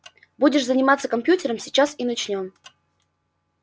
будешь заниматься компьютером сейчас и начнём